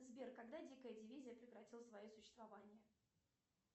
сбер когда дикая дивизия прекратила свое существование